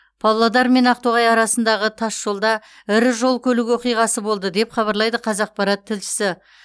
павлодар мен ақтоғай арасындағы тасжолда ірі жол көлік оқиғасы болды деп хабарлайды қазақпарат тілшісі